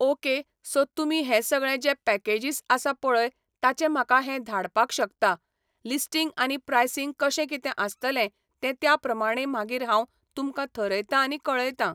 Okay so तुमी हें सगळें जें पॅकेजीस आसा पळय ताचे म्हाका हें धाडपाक शकता, लिस्टींग आनी प्रायसींग कशें कितें आसतलें तें त्या प्रमाणे मागीर हांव तुमकां थरयतां आनी कळयतां.